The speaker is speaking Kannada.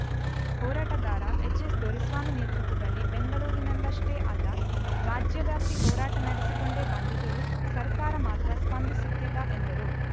ಹೋರಾಟಗಾರ ಎಚ್‌ಎಸ್‌ದೊರೆಸ್ವಾಮಿ ನೇತೃತ್ವದಲ್ಲಿ ಬೆಂಗಳೂರಿನಲ್ಲಷ್ಟೇ ಅಲ್ಲ ರಾಜ್ಯವ್ಯಾಪಿ ಹೋರಾಟ ನಡೆಸಿಕೊಂಡೇ ಬಂದಿದ್ದರೂ ಸರ್ಕಾರ ಮಾತ್ರ ಸ್ಪಂದಿಸುತ್ತಿಲ್ಲ ಎಂದರು